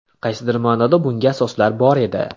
Qaysidir ma’noda bunga asoslar bor edi.